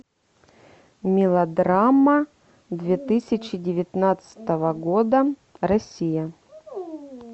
мелодрама две тысячи девятнадцатого года россия